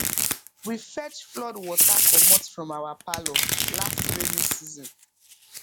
we fetch flood water comot from our parlour last rainy season